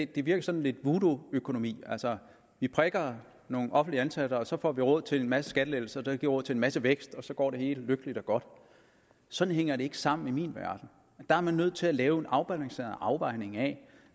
den virker sådan lidt voodooøkonomiagtig altså vi prikker nogle offentligt ansatte og så får vi råd til en masse skattelettelser der bliver råd til en masse vækst og så går det hele lykkeligt og godt sådan hænger det ikke sammen i min verden der er man nødt til at lave en afbalanceret afvejning af